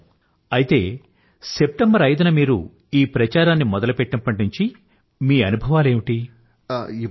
అద్భుతం అయితే సెప్టెంబర్ 5న మీరు ఈ ప్రచారాన్ని మొదలుపెట్టినప్పటి నుంచీ మీ అనుభవాలేమిటి